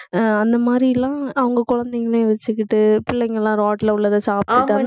அஹ் அந்த மாதிரில்லாம் அவங்க குழந்தைங்களையும் வச்சுக்கிட்டு பிள்ளைங்க எல்லாம் ரோட்ல உள்ளதை சாப்பிட்டு